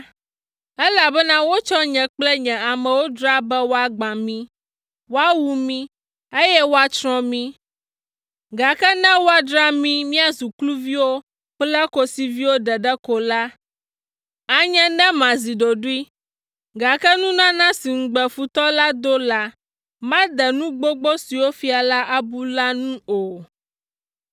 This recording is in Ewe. elabena wotsɔ nye kple nye amewo dzra be woagbã mi, woawu mí, eye woatsrɔ̃ mi, gake ne woadzra mí míazu kluviwo kple kosiviwo ɖeɖe ko la, anye ne mazi ɖoɖoe, gake nunana si ŋugbe futɔ la do la, made nu gbogbo siwo fia la abu la nu o.”